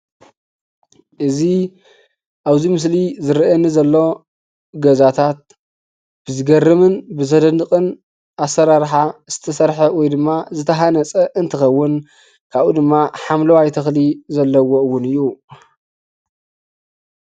እዚ አብዚ ምስሊ ዝረእየኒ ዘሎ ገዛታት ብዝገርምን ብዘድንቅን አሰራርሓ ዝተሰርሐ ወይ ድማ ዝተሃነፀ እንትከውን ካብኡ ድማ ሓምለዋየ ተክሊ እውን ዘለዎ እውን እዩ፡፡